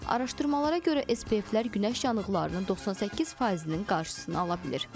Araşdırmalara görə SPF-lər günəş yanıqlarının 98%-nin qarşısını ala bilir.